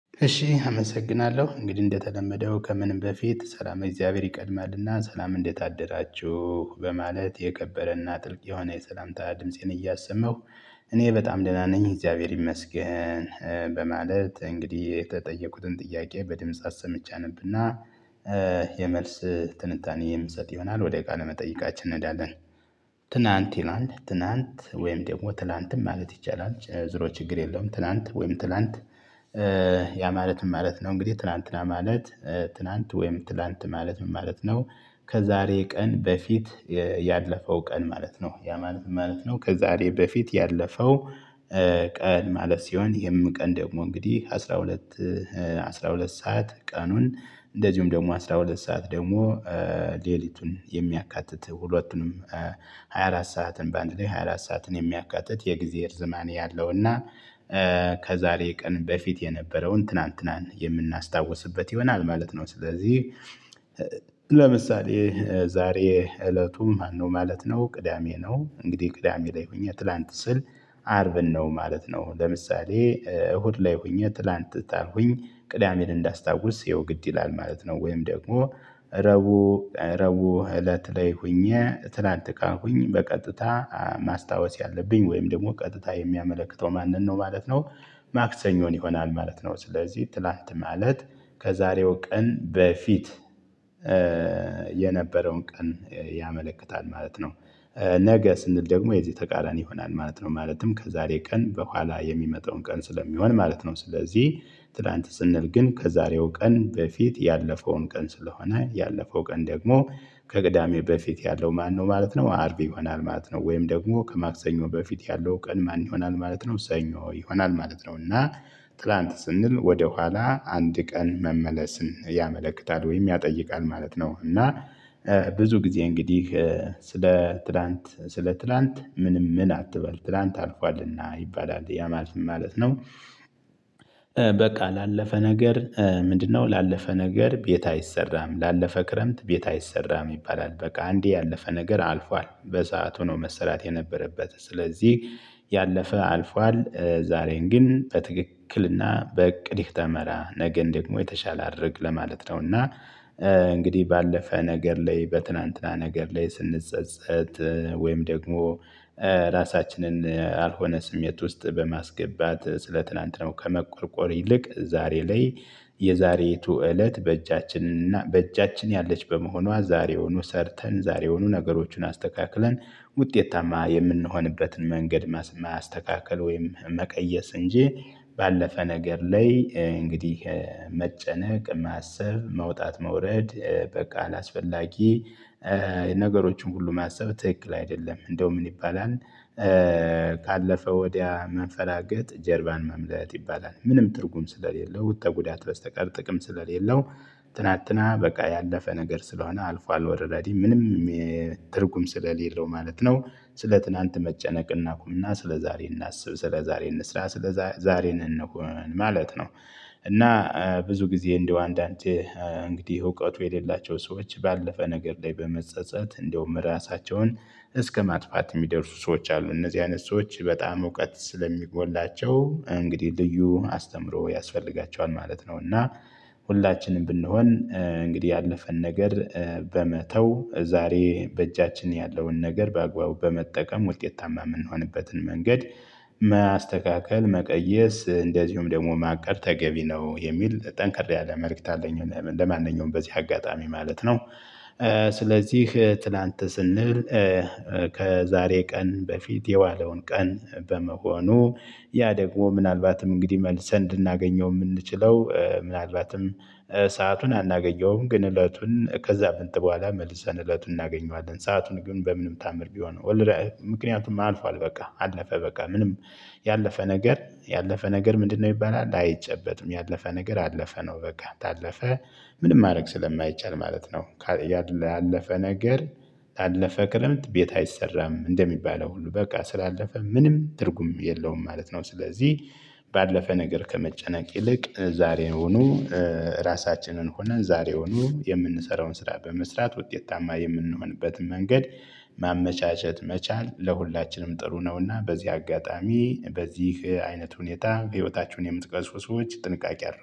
እሺ አመሰግናለሁ እንግዲህ እንደተለመደው ከምንም በፊት ሰላመ እግዚአብሔር ይቀድማል እና ሰላም እንዴት አደራችሁ የከበረ እና ጥልቅ የሆነ የሰላምታ ድምፄን እያሰማሁ እኔ በጣም ደህና ነኝ እግዚአብሔር ይመስገን። በማለት እንግዲህ የተጠየኩትን ጥያቄ በድምጽ አሰምቼ አነብ እና የመልስ ትንታኔ የምሰጥ ይሆናል ወደ ቃለ መጠይቃችን እንሄዳለን። ትናንት ይላል ትናንት ወይም ደግሞ ትላንትም ማለት ይቻላል ዙሮ ችግር የለውም ትናንት ወይም ትላንት። ያ ማለት ምን ማለት ነው? እንግዲህ ትላንትና ማለት ትናንት ወይም ትላንት ማለት ምን ማለት ነው? ከዛሬ ቀን በፊት ያለፈው ቀን ማለት ነው ያ ማለት ምን ማለት ነው ከዛሬ በፊት ያለፈው። ቀን ማለት ሲሆን ይሄም ቀን ደግሞ እንግዲህ አስራ ሁለት አስራ ሁለት ሰዓት ቀኑን። እንደዚሁም ደግሞ አስራ ሁለት ሰዓት ደግሞ ሌሊቱን የሚያካትት ሁለቱንም። ሃያ አራት ሰዓትን በአንድ ላይ ሃያ አራት ሰዓትን የሚያካትት የግዜ እርዝማኔ ያለው እና ከዛሬ ቀን በፊት የነበረውን ትናንትናን የምናስታውስበት ይሆናል ማለት ነው። ስለዚህ ለምሳሌ ዛሬ እለቱ ማነው ማለት ነው? ቅዳሜ ነው እንግዲህ ቅዳሜ ላይ ሆኜ ትላንት ስል አርብን ነው ማለት ነው። ለምሳሌ እሁድ ላይ ሆኜ ትላንት ታልሁኝ ቅዳሜን እንዳስታውስ ያው ግድ ይላል ማለት ነው። ወይም ደግሞ ረቡዕ ረቡዕ እለት ላይ ሁኜ ትላንት ካልኩኝ በቀጥታ ማስታወስ ያለብኝ ወይም ደግሞ ቀጥታ የሚያመለክተው ማንን ነው? ማለት ነው ማክሰኞን ይሆናል ማለት ነው። ስለዚህ ትላንት ማለት ከዛሬው ቀን በፊት የነበረውን ቀን ያመለክታል ማለት ነው። ነገ ስንል ደግሞ የዚህ ተቃራኒ ይሆናል ማለት ነው ማለትም ከዛሬ ቀን በኋላ የሚመጣውን ቀን ስለሚሆን ማለት ነው። ስለዚህ ትላንት ስንል ግን ከዛሬው ቀን በፊት ያለፈውን ቀን ስለሆነ ያለፈው ቀን ደግሞ ከቅዳሜ በፊት ያለው ማነው ማለት ነው? አርብ ይሆናል ማለት ነው። ወይም ደግሞ ከማክሰኞ በፊት ያለው ቀን ማን ይሆናል ማለት ነው? ሰኞ ይሆናል ማለት ነው። እና ትላንት ስንል ወደኋላ አንድ ቀን መመለስን ያመለክታል ወይም ያጠይቃል ማለት ነው። እና ብዙ ጊዜ እንግዲህ ስለ ትላንት ስለ ትላንት ምንም ምን አትበል ትላንት አልፏልና ይባላል ያ ማለት ምን ማለት ነው? በቃ ላለፈ ነገር። ምንድነው? ላለፈ ነገር ቤት አይሰራም ላለፈ ክረምት ቤት አይሰራም ይባላል። በቃ አንዴ ያለፈ ነገር አልፏል በሰአቱ ነው መሰራት የነበረበት ስለዚህ። ያለፈ አልፏል። ዛሬን ግን በትክክል እና በእቅድህ ተመራ ነገን ደግሞ የተሻለ አድርግ ለማለት ነው። እና እንግዲህ ባለፈ ነገር ላይ በትላንትና ነገር ላይ ስንጸጸት ወይም ደግሞ ራሳችንን አልሆነ ስሜት ውስጥ በማስገባት ስለትላንትናው ከመቆርቆር ይልቅ ዛሬ ላይ። የዛሬይቱ እለት በእጃችን እና በእጃችን ያለች በመሆኗ ዛሬውኑ ሰርተን ዛሬውኑ ነገሮችን አስተካክለን ውጤታማ የምንሆንበትን መንገድ ማስተካከል ወይም መቀየስ እንጂ። ባለፈ ነገር ላይ እንግዲህ መጨነቅ ማሰብ መውጣት መውረድ በቃ አላስፈላጊ ነገሮችን ሁሉ ማሰብ ትክክል አይደለም። እንደውም ምን ይባላል? ካለፈ ወዲያ መንፈራገጥ ጀርባን መምለጥ ይባላል ምንም ትርጉም ስለሌለው ተጉዳት በስተቀር ጥቅም ስለሌለው። ትናንትና በቃ ያለፈ ነገር ስለሆነ አልፏል ኦልረዲ ምንም ትርጉም ስለሌለው ማለት ነው። ስለ ትናንት መጨነቅ እናቁም እና ስለዛሬ እናስብ ስለዛሬ እንስራ ስለዛሬ እንሁን ማለት ነው። እና ብዙ ጊዜ እንደው አንዳንዴ እንግዲህ እውቀቱ የሌላቸው ሰዎች ባለፈ ነገር ላይ በመጸጸት እንደውም ራሳቸውን እስከማጥፋት የሚደርሱ ሰዎች አሉ እነዚህ አይነት ሰዎች በጣም እውቀት ስለሚጎላቸው። እንግዲህ ልዩ አስተምሮ ያስፈልጋቸዋል ማለት ነው። እና ሁላችንም ብንሆን እንግዲህ ያለፈን ነገር በመተው ዛሬ በእጃችን ያለውን ነገር በአግባቡ በመጠቀም ውጤታማ የምንሆንበትን መንገድ ማስተካከል መቀየስ እንደዚሁም ደግሞ ማቀድ ተገቢ ነው የሚል ጠንከር ያለ መልእክት አለኝ። ለማንኛውም በዚህ አጋጣሚ ማለት ነው። ስለዚህ ትላንት ስንል። ከዛሬ ቀን በፊት የዋለውን ቀን በመሆኑ ያደግሞ ምናልባትም እንግዲህ መልሰን ልናገኘው የምንችለው ምናልባትም ሰአቱን አናገኘውም ግን እለቱን ከሳምንት በኋላ መልሰን እለቱን እናገኘዋለን ሰአቱን ግን በምንም ተአምር ቢሆን። ምክንያቱም አልፏል በቃ አለፈ በቃ ምንም ያለፈ ነገር ያለፈ ነገር ምንድነው? ይባላል አይጨበጥም ያለፈ ነገር አለፈ ነው በቃ ታለፈ ምንም ማድረግ ስለማይቻል ማለት ነው። ያለፈ ነገር ታለፈ ክረምት ቤት አይሰራም እንደሚባለው ሁሉ በቃ ስላለፈ ምንም ትርጉም የለውም ማለት ነው። ስለዚህ። ባለፈ ነገር ከመጨነቅ ይልቅ ዛሬውኑ ራሳችንን ሆነን ዛሬውኑ የምንሰራውን ስራ በመስራት ውጤታማ የምንሆንበትን መንገድ ማመቻቸት መቻል ለሁላችንም ጥሩ ነው። እና በዚህ አጋጣሚ በዚህ አይነት ሁኔታ ህይወታችሁን የምትቀርጹ ሰዎች ጥንቃቄ አርጉ